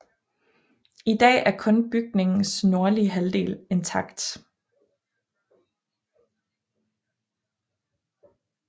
I dag er kun bygningens nordlige halvdel intakt